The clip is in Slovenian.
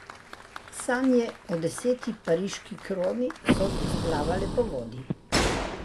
Sanje o deseti pariški kroni so splavale po vodi.